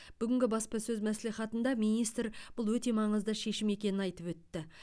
бүгінгі баспасөз мәслихатында министр бұл өте маңызды шешім екенін айтып өтті